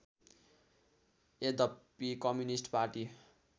यद्यपि communist party